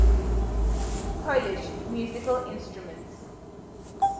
polish musical instruments